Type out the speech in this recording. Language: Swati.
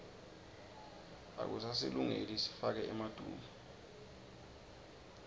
akusasilungeli sifake emaduku